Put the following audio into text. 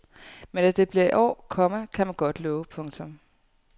Men at det bliver i år, komma kan man godt love. punktum